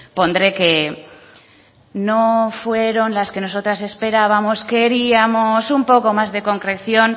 pondré que no fueron las que nosotras esperábamos queríamos un poco más de concreción